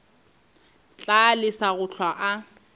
tla lesa go hlwa a